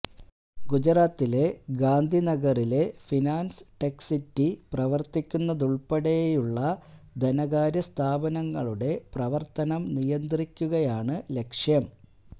ഗുജറാത്തിലെ ഗാന്ധിനഗറിലെ finance tech city പ്രവര്ത്തിക്കുന്നതുള്പ്പെടെയുള്ള ധനകാര്യ സ്ഥാപനങ്ങളുടെ പ്രവര്ത്തനം നിയന്ത്രിക്കുകയാണു ലക്ഷ്യം